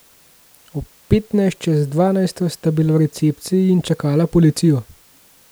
Ob petnajst čez dvanajsto sta bila v recepciji in čakala policijo.